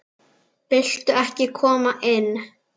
Viltu ekki koma inn?